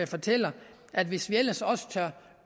fortæller at hvis vi ellers også